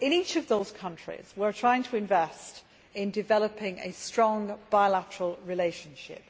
In each of these countries we are trying to invest in developing a strong bilateral relationship.